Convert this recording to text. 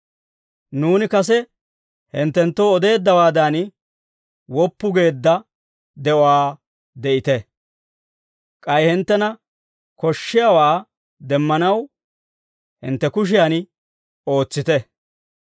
Nuuni kase hinttenttoo odeeddawaadan, woppu geedda de'uwaa de'ite. K'ay hinttena koshshiyaawaa demmanaw, hintte kushiyan ootsite.